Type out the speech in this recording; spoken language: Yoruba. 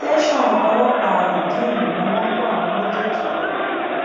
tẹsàn ọlọpàá rìdíìmù ni wọn kó àwọn méjèèjì lọ